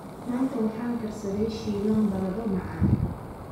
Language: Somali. Maanta waxaan karsaday shiilan baradho macaan.